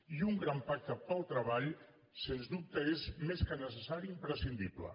i un gran pacte pel treball sens dubte és més que necessari imprescindible